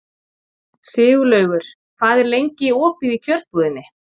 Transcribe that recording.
Sigurlaugur, hvað er lengi opið í Kjörbúðinni?